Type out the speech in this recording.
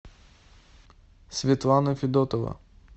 светлана федотова